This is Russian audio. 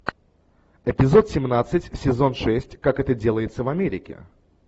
эпизод семнадцать сезон шесть как это делается в америке